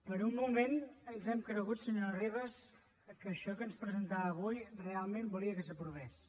per un moment ens hem cregut senyora ribas que això que ens presentava avui realment volia que s’aprovés